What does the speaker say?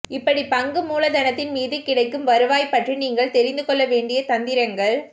இப்படிப் பங்கு மூலதனத்தின் மீது கிடைக்கும் வருவாய் பற்றி நீங்கள் தெரிந்து கொள்ள வேண்டிய தந்திரங்கள்